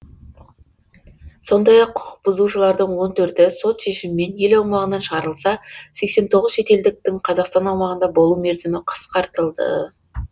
сондай ақ құқықбұзушылардың он төрті сот шешімімен ел аумағынан шығарылса сексен тоғыз шетелдіктің қазақстан аумағында болу мерзімі қысқартылды